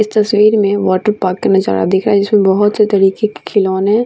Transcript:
इस तस्वीर में वॉटरपार्क का नजारा दिख रहा है जिसमें बहुत से तरीके के खिलौने --